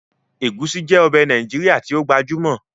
Ẹ̀gúsí jẹ́ ọbẹ̀ Nàìjíríà tí ó gbajúmọ̀